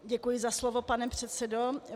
Děkuji za slovo, pane předsedo.